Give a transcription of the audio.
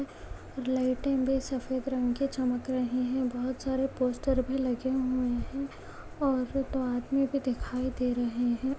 लाइटे भी सफेद रंग की चमक रहे है बहुत सारे पोस्टर भी लगे हुए है और दो आदमी भी दिखाई दे रहे है।